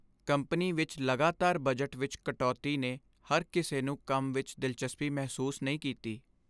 Company ਵਿੱਚ ਲਗਾਤਾਰ budget ਵਿੱਚ ਕਟੌਤੀ ਨੇ ਹਰ ਕਿਸੇ ਨੂੰ ਕੰਮ ਵਿੱਚ ਦਿਲਚਸਪੀ ਮਹਿਸੂਸ ਨਹੀਂ ਕੀਤੀ।।